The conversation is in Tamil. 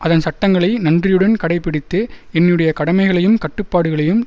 அதன் சட்டங்களை நன்றியுடன் கடைபிடித்து என்னுடைய கடமைகளையும் கடப்பாடுகளையும்